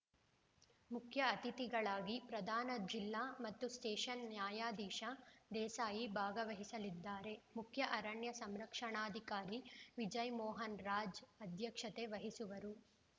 ಮುಖ್ಯ ಅತಿಥಿಗಳಾಗಿ ಪ್ರಧಾನ ಜಿಲ್ಲಾ ಮತ್ತು ಸ್ಟೇಷನ್ ನ್ಯಾಯಾಧೀಶ ದೇಸಾಯಿ ಭಾಗವಹಿಸಲಿದ್ದಾರೆ ಮುಖ್ಯ ಅರಣ್ಯ ಸಂರಕ್ಷಣಾಧಿಕಾರಿ ವಿಜಯ್‌ಮೋಹನ್‌ರಾಜ್‌ ಅಧ್ಯಕ್ಷತೆ ವಹಿಸುವರು